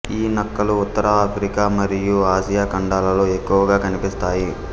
ఈ నక్కలు ఉత్తర ఆఫ్రికా మఱియు ఆసియా ఖండాలలో ఎక్కువగా కనిపిస్తాయి